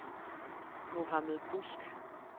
Mohammad Busk